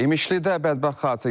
İmişlidə bədbəxt hadisə yaşanıb.